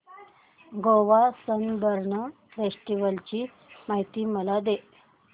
Goa Sunburn festival ची माहिती मला दे